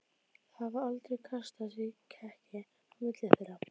Það hafði aldrei kastast í kekki á milli þeirra.